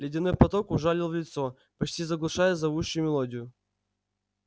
ледяной поток ужалил в лицо почти заглушая зовущую мелодию